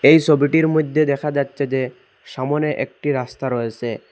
এই ছবিটির মইধ্যে দেখা যাচ্ছে যে সামনে একটি রাস্তা রয়েসে।